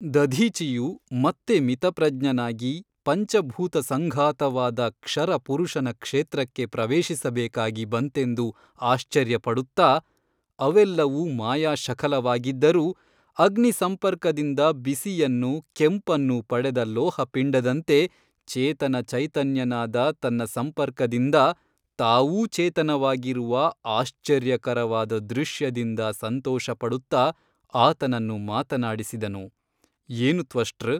ದಧೀಚಿಯು ಮತ್ತೆ ಮಿತಪ್ರಜ್ಞನಾಗಿ ಪಂಚಭೂತಸಂಘಾತವಾದ ಕ್ಷರ ಪುರುಷನ ಕ್ಷೇತ್ರಕ್ಕೆ ಪ್ರವೇಶಿಸಬೇಕಾಗಿ ಬಂತೆಂದು ಆಶ್ಚರ್ಯಪಡುತ್ತ ಅವೆಲ್ಲವೂ ಮಾಯಾಶಖಲವಾಗಿದ್ದರೂ ಅಗ್ನಿಸಂಪರ್ಕದಿಂದ ಬಿಸಿಯನ್ನು ಕೆಂಪನ್ನು ಪಡೆದ ಲೋಹಪಿಂಡದಂತೆ ಚೇತನಚೈತನ್ಯನಾದ ತನ್ನ ಸಂಪರ್ಕದಿಂದ ತಾವೂ ಚೇತನವಾಗಿರುವ ಆಶ್ಚರ್ಯಕರವಾದ ದೃಶ್ಯದಿಂದ ಸಂತೋಷಪಡುತ್ತ ಆತನನ್ನು ಮಾತನಾಡಿಸಿದನು ಏನು ತ್ವಷ್ಟೃ ?